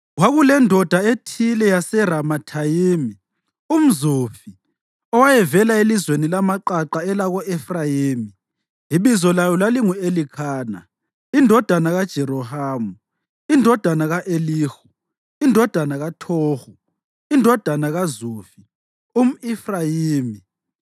Kwakulendoda ethile yaseRamathayimi, umZufi owayevela elizweni lamaqaqa elako-Efrayimi, ibizo layo lalingu-Elikhana indodana kaJerohamu, indodana ka-Elihu, indodana kaThohu, indodana kaZufi, umʼEfrayimi.